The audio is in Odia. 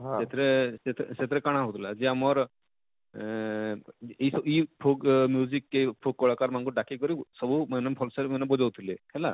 ସେଥିରେ ସେଥିରେ ସେଥିରେ କାଣା ହଉଥିଲା ଯେ ଆମର ଅଁ ଅଁ ଇ ଇ folk କେ folk କଲାକାର ମାନକୁ ଡାକି କରି ସବୁ ମେନ ମେନ function ମାନକୁ ବଜଉ ଥିଲେ ହେଲା